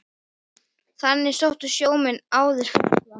Þangað sóttu sjómenn áður ferskt vatn.